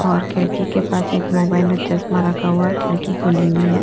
और खिड़की के पास एक मोबाइल और चश्मा रखा हुआ है खिड़की खुली हुई है।